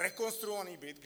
Rekonstruovaný byt.